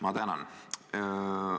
Ma tänan!